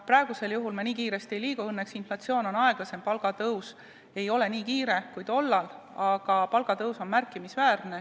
Praegu me nii kiiresti ei liigu, õnneks on inflatsioon aeglasem, palgatõus ei ole nii kiire, kui oli tol ajal, aga see on märkimisväärne.